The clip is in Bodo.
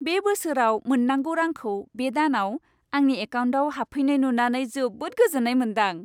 बे बोसोराव मोननांगौ रांखौ बे दानाव आंनि एकाउन्टाव हाबफैनाय नुनानै जोबोद गोजोन्नाय मोनदां।